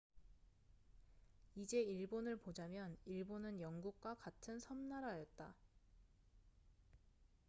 이제 일본을 보자면 일본은 영국과 같은 섬나라였다